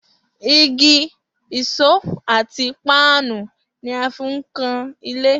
Igi, ìṣó àti páànù ni a fi ń kan ilé